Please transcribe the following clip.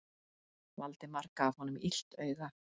Valdimar gaf honum illt auga.